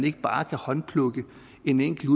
ikke bare håndplukke en enkelt